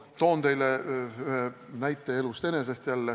Toon teile jälle ühe näite elust enesest.